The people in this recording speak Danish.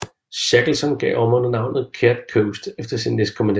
Shackleton gav området navnet Caird Coast efter sin næstkommanderende